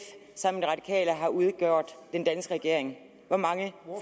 sammen radikale har udgjort den danske regering hvor mange